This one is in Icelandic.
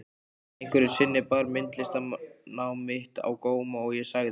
Einhverju sinni bar myndlistarnám mitt á góma og ég sagði